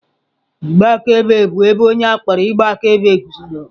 Igbe akaebe bụ ebe onye a kpọrọ ịgba akaebe guzoro.